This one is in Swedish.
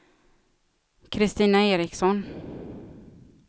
Kristina Eriksson